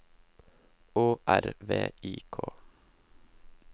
Å R V I K